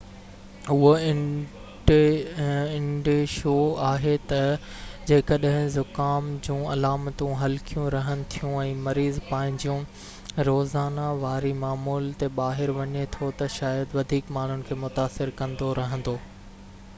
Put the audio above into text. اهو انديشو آهي تہ جيڪڏهن زڪام جون علامتون هلڪيون رهن ٿيون ۽ مريض پنهنجيون روزانا واري معمول تي ٻاهر وڃي ٿو تہ شايد وڌيڪ ماڻهن کي متاثر ڪندو رهندو